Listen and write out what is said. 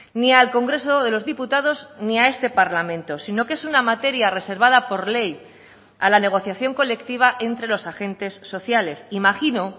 ni al congreso de los diputados ni a este parlamento sino que es una materia reservada por ley a la negociación colectiva entre los agentes sociales imagino